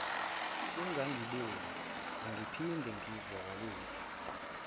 ungangiboni angiphinde ngizwakalise